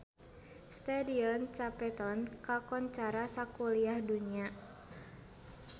Stadion Cape Town kakoncara sakuliah dunya